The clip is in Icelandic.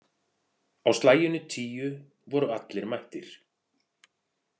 Á slaginu tíu voru allir mættir.